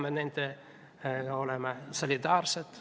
Me peame olema nendega solidaarsed.